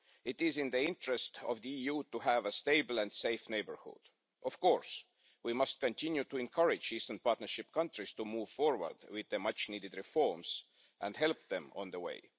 It is in the interests of the EU to have a stable and safe neighbourhood. Of course, we must continue to encourage Eastern Partnership countries to move forward with their much needed reforms and help them on their way.